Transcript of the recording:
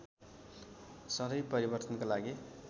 सधैँ परिवर्तनका लागि